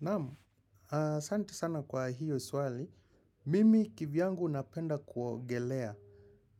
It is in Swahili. Naamu, santi sana kwa hiyo swali. Mimi kivyangu napenda kuogelea.